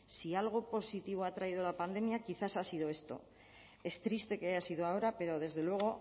si algo positivo ha traído la pandemia quizás ha sido esto es triste que haya sido ahora pero desde luego